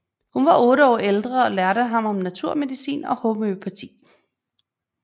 Hun var otte år ældre og lærte ham om naturmedicin og homøopati